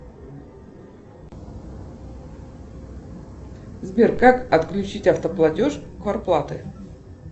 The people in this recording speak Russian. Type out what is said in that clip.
сбер как отключить автоплатеж квартплаты